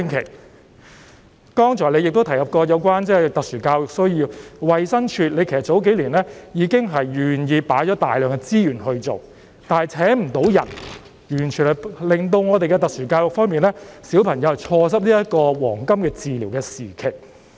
行政長官，剛才你亦提及特殊教育需要，其實你數年前已經願意投放大量資源去做，但衞生署未能聘請人手，結果令需要接受特殊教育的小朋友錯失治療的黃金時期。